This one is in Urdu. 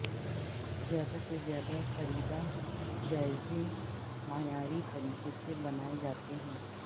زیادہ سے زیادہ خریدا جائزے معیاری طریقے سے بنائے جاتے ہیں